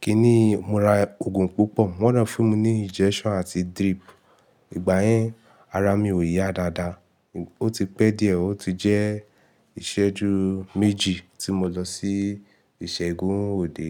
kíni, mo ra òògùn púpọ̀. Wọ́n dè fún mi ní injection àti drip. Ìgbà yẹn ara mi ò yá dáadáa. Ó ti pẹ́ díẹ̀, ó ti jẹ́ ìṣẹ́jú méjì tí mo lọ sí ìṣègùn òde.